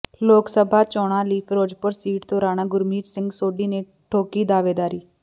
ਲੋਕ ਸਭਾ ਚੋਣਾਂ ਲਈ ਫਿਰੋਜ਼ਪੁਰ ਸੀਟ ਤੋਂ ਰਾਣਾ ਗੁਰਮੀਤ ਸਿੰਘ ਸੋਢੀ ਨੇ ਠੋਕੀ ਦਾਅਵੇਦਾਰੀ